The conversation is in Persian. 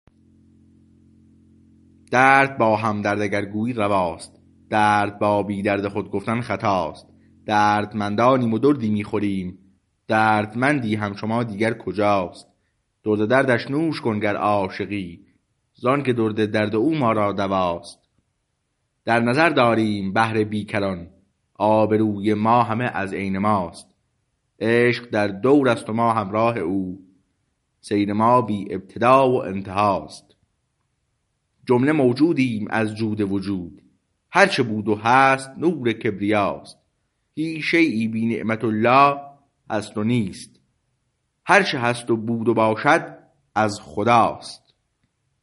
درد با همدرد اگر گویی رواست درد با بی درد خود گفتن خطاست دردمندانیم و دردی می خوریم دردمندی همچو ما دیگر کجاست درد دردش نوش کن گر عاشقی زانکه درد درد او ما را دواست در نظر داریم بحر بیکران آبروی ما همه از عین ماست عشق در دور است و ما همراه او سیر ما بی ابتدا و انتهاست جمله موجودیم از جود وجود هرچه بود و هست نور کبریاست هیچ شییی بی نعمت الله هست نیست هرچه هست و بود و باشد از خداست